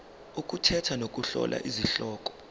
ukukhetha nokuhlola izihloko